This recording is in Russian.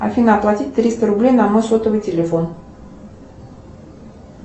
афина оплатить триста рублей на мой сотовый телефон